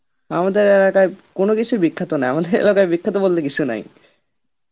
আমাদের এলাকায় কোন কিছুই বিখ্যাত নয় আমাদের এলাকায় বিখ্যাত বলতে কিছু নাই